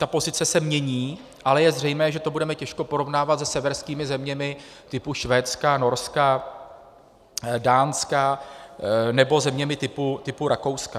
Ta pozice se mění, ale je zřejmé, že to budeme těžko porovnávat se severskými zeměmi typu Švédska, Norska, Dánska nebo zeměmi typu Rakouska.